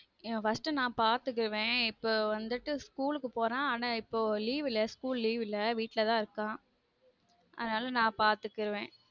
அஹ் first நான் பார்த்துக்குவன் இப்போ வந்துட்டு school க்கு போறான் ஆனா இப்போ வந்து leave illa school leave இல்ல வீட்டுல தான் இருக்கான் அதுனால நான் பார்த்துக்குவன்